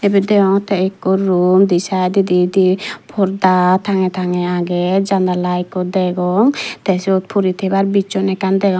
ebet deyongotte ekko room undi side dodi di parda tangge tangge aage janala ekko degong te sot pori tebar bison ekkan degong.